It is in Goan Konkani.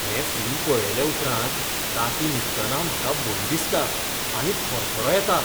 हें फिल्म पळयले उपरांत रातीं न्हिदतना म्हाका भंय दिसता आनी थरथरो येता.